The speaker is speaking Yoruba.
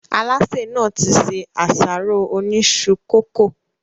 Alásè nàá ti ṣe àsáró Oni isu coco